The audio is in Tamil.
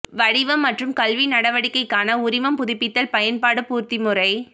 வடிவம் மற்றும் கல்வி நடவடிக்கைக்கான உரிமம் புதுப்பித்தல் பயன்பாடு பூர்த்தி முறை